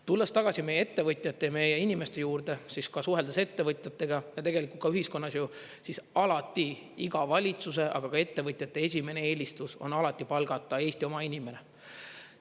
Tulles tagasi meie ettevõtjate ja meie inimeste juurde, siis ka suheldes ettevõtjatega ja tegelikult ka ühiskonnas ju, siis alati iga valitsuse, aga ka ettevõtjate esimene eelistus on alati palgata Eesti oma inimene.